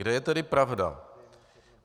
Kde je tedy pravda?